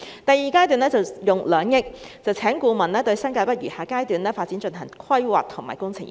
第二階段會用2億元聘請顧問，對新界北餘下階段發展進行規劃及工程研究。